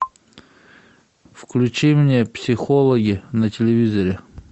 включи мне психологи на телевизоре